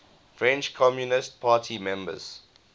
french communist party members